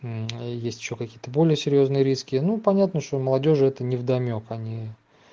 есть ещё какие-то более серьёзные риски ну понятно что молодёжи это невдомёк они